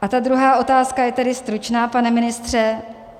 A ta druhá otázka je tedy stručná, pane ministře.